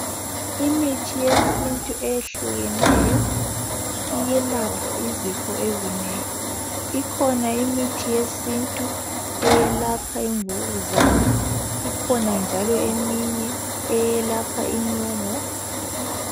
Imithi yesintu eyehlukeneyo, iyelapha izifo ezinengi. Ikhona imithi yesintu eyelapha imvukuzane, ikhona njalo eminye eyelapha inyongo.